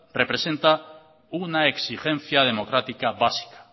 representa una exigencia democrática básica